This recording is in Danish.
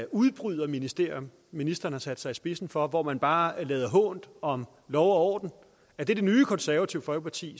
udbryderministerium ministeren har sat sig i spidsen for hvor man bare lader hånt om lov og orden er det det nye konservative folkeparti